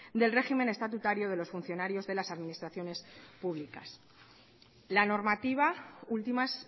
del régimen estatutario de los funcionarios de las administraciones públicas la normativa últimas